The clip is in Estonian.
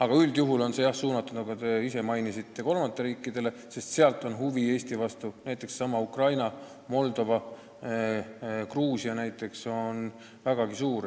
Ent üldjuhul on see regulatsioon suunatud, nagu teie ka märkisite, kolmandatele riikidele, sest seal on huvi Eesti vastu – näiteks seesama Ukraina, Moldova, Gruusia – vägagi suur.